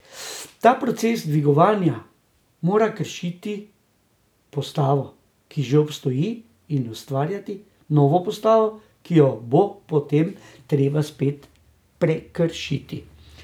Ta proces dviganja mora kršiti postavo, ki že obstoji, in ustvarjati novo postavo, ki jo bo potem treba spet prekršiti.